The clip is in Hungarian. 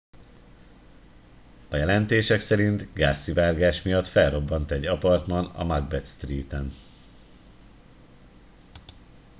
a jelentések szerint gázszivárgás miatt felrobbant egy apartman a macbeth street en